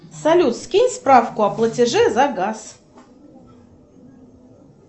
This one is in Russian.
салют скинь справку о платеже за газ